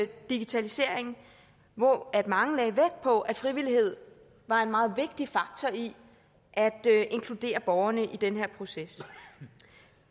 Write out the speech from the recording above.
digitalisering hvor mange lagde vægt på at frivillighed var en meget vigtig faktor i at inkludere borgerne i den her proces